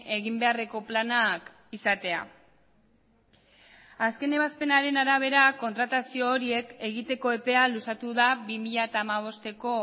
egin beharreko planak izatea azken ebazpenaren arabera kontratazio horiek egiteko epea luzatu da bi mila hamabosteko